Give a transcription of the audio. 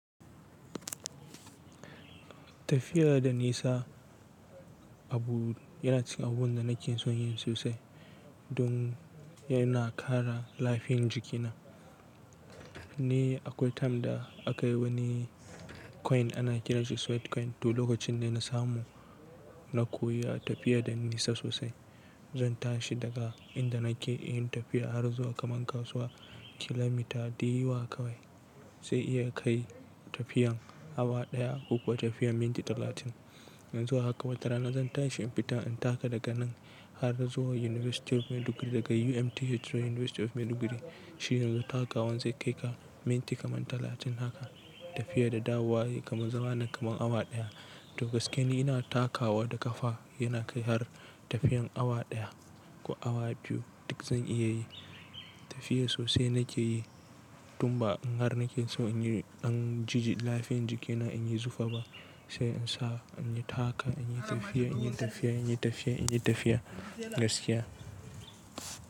Tafiya da nisa, abu yana cikin abun da nake son yin sosai, don yana kara lafiyan jikina. Ni akwai time da, aka yi wani coin ana kiranshi Sweet coin, to lokacin da na samu, na koyi tafiya da nesa sosai. Zan tashi daga inda nake, in yi tafiya har zuwa kaman kasuwa, kilomita diyawa kawai zan iya kai tafiyan awa ɗaya, ko kuwa tafiyan minti talatin. In zuwa haka batara na zan tashi in fita in taka daga nan, har zuwa University of Maiduguri, daga UMTH zuwa University of Maiduguri. Shi yanzu takawan zai kai ka minti kaman talatin haka. Tafiya da dawowa, kaman zama na kaman awa ɗaya. To gaskiya ni ina takawa da kafa, yana kai har tafiyan awa ɗaya, ko awa biyu, duk zan iya yi. Tafiya sosai nake yi, tun ba in har nake so in yi ɗan jiji lafiyan jikina in yi zufa ba, sai in sa in yi taka, in yi tafiya, in yi tafiya, in yi tafiya, in yi tafiya gaskiya.